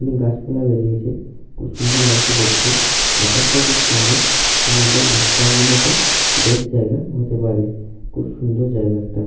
গাছপালা বেরিয়েছে খুব সুন্দর লাগছে দেখতেআকাশটা ও খুব সুন্দর এবং এটা ঘুরার জন্য বেস্ট জায়গা হতে পারেখুব সুন্দর জায়গা একটা।